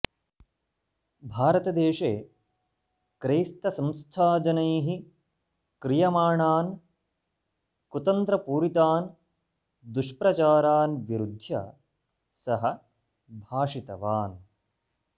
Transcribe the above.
भारतदेशे क्रैस्तसंस्थाजनैः क्रियमाणान् कुतन्त्रपूरितान् दुष्प्रचारान् विरुद्ध्य सः भाषितवान्